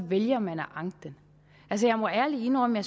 vælger man at anke den altså jeg må ærlig indrømme at